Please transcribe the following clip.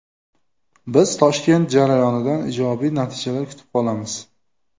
Biz Toshkent jarayonidan ijobiy natijalar kutib qolamiz.